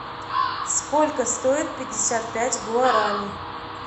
сколько стоит пятьдесят пять гуарани